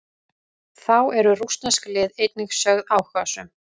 Þá eru rússnesk lið einnig sögð áhugasöm.